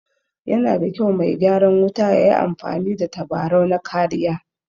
Yana da kyau me gyaran wuta yayi amfani da tabarau na kariya